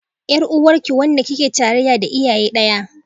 Yar uwarki, wanda kike tarayya da iyaye daya